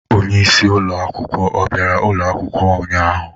Onye isi ụlọ akwụkwọ ọ bịara ụlọ akwụkwọ ụnyahụ?